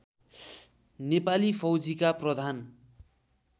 नेपाली फौजीका प्रधान